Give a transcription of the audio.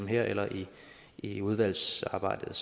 her eller i i udvalgsarbejdet